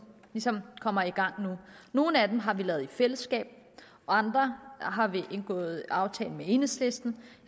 ligesom kommer i gang nu nogle af dem har vi lavet i fællesskab og andre har vi indgået aftale med enhedslisten